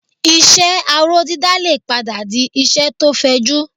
Iṣẹ́ aró dídá lè padà di iṣẹ́ tó fẹjú